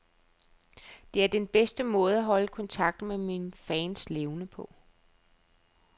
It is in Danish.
Det er den bedste måde at holde kontakten med mine fans levende på.